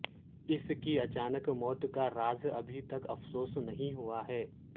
اس کی اچانک موت کا راز ابھی تک افسوس نہیں ہوا ہے